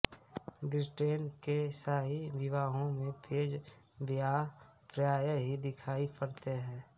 Britain के शाही विवाहों में पेज ब्वाय प्रायः ही दिखायी पड़ते हैं